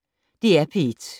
DR P1